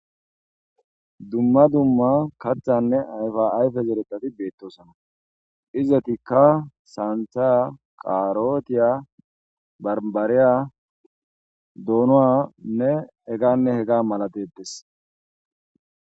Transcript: Dumma dumma kathanne ayfa ayfe zereththati beetosona. Izetikka saantha,karotiya, barbariya, doononne heganne hega mala de'etees.